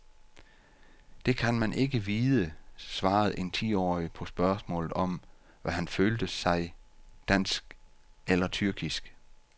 Det kan man ikke vide, svarede en ti-årig på spørgsmålet om, hvad han følte sig, dansk eller tyrkisk.